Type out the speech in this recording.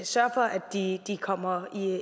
sørge for at de kommer